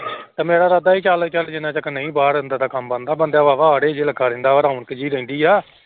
ਤੇ ਮੇਰਾ ਇਰਾਦਾ ਸੀ ਚੱਲ ਚੱਲ ਜਿੰਨਾ ਜਿਕਰ ਨਹੀਂ ਬਾਹਰ ਅੰਦਰ ਦਾ ਕੰਮ ਬਣਦਾ ਬੰਦਾ ਕਰਦਾ ਰੌਣਕ ਜਿਹੀ ਰਹਿੰਦੀ ਆ।